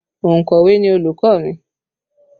Ònkọ̀wé ni olùkọ́ mi